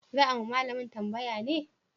Za a ma malamin tambaya ne?